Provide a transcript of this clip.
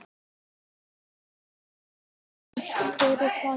Kaffihúsin státa enn af frægum nöfnum.